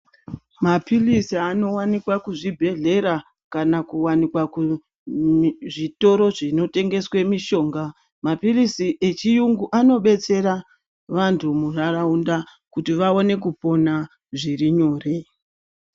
Mapilisi anowanikwa kuzvibhedhlera kana kuwanikwa kuzvitoro zvinotengeswe mishonga, mapilisi echiyungu anobetsera vantu muntaraunta, kuti vawane kupona zviri nyore.